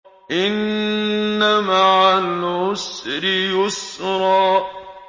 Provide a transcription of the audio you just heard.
إِنَّ مَعَ الْعُسْرِ يُسْرًا